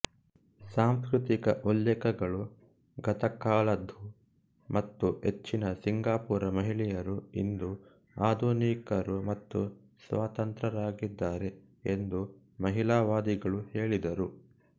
ಸಾಂಸ್ಕೃತಿಕ ಉಲ್ಲೇಖಗಳು ಗತಕಾಲದ್ದು ಮತ್ತು ಹೆಚ್ಚಿನ ಸಿಂಗಪುರ ಮಹಿಳೆಯರು ಇಂದು ಆಧುನಿಕರು ಮತ್ತು ಸ್ವತಂತ್ರರಾಗಿದ್ದಾರೆ ಎಂದು ಮಹಿಳಾವಾದಿಗಳು ಹೇಳಿದರು